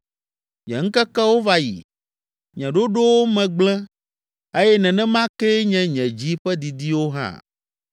Nye ŋkekewo va yi, nye ɖoɖowo me gblẽ eye nenema kee nye nye dzi ƒe didiwo hã.